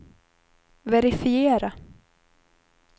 verifiera